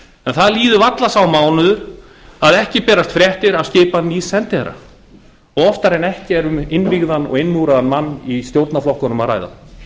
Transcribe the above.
en það líður varla sá mánuður að ekki berist fréttir af skipan nýs sendiherra og oftar en ekki er um innvígðan og innmúraðan mann í stjórnarflokkunum að ræða